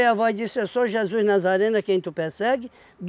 E a voz disse, eu sou Jesus Nazareno, a quem tu persegue?